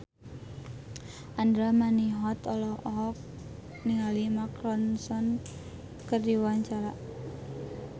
Andra Manihot olohok ningali Mark Ronson keur diwawancara